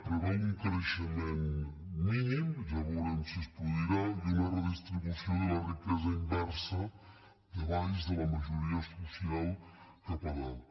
preveu un creixement mínim ja veurem si es produirà i una redistribució de la riquesa inversa de baix de la majoria social cap amunt